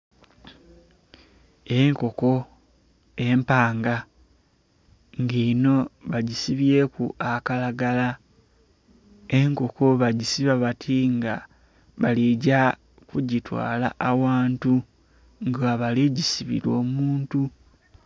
Enkoko empanga nga enho bagisibyeku akalagala. Enkoko bagisiba bati nga bali gya kugitwala aghantu, nga bali gisibila omuntu.